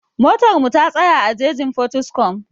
Motar mu ta tsaya a jejin Potiskum